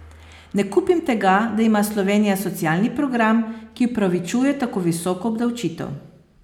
Ne kupim tega, da ima Slovenija socialni program, ki opravičuje tako visoko obdavčitev.